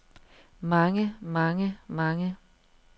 mange mange mange